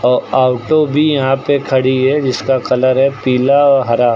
अ auto भी यहां पे खड़ी है जिसका कलर है पीला हरा।